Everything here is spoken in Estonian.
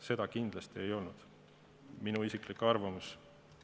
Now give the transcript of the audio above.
Seda kindlasti ei olnud, see on minu isiklik arvamus.